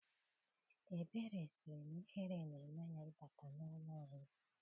Ebere sị na ihere na-eme ya ịbata n'ụlọ anyị.